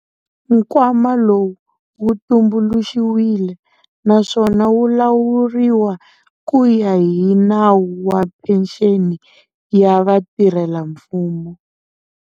Nkwama lowu wu tumbuluxiwile, naswona wu lawuriwa ku ya hi Nawu wa Phenxeni ya Vatirhelamfumo.